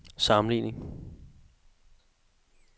sammenligning